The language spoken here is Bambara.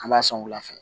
An b'a sɔn wula fɛ